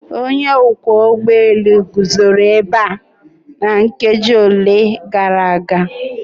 Onye ọkwọ ụgbọ elu guzoro ebe a nkeji ole na ole gara aga.